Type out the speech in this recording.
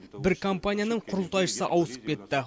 бір компанияның құрылтайшысы ауысып кетті